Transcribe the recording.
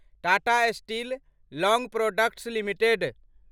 Tata steel long products limited